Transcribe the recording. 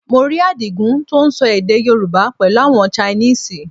Mo rí Àdìgún tó ń sọ èdè Yorùbá pẹ̀lú àwọn Chinese